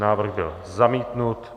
Návrh byl zamítnut.